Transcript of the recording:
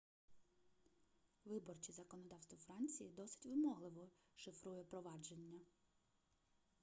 виборче законодавство франції досить вимогливо шифрує провадження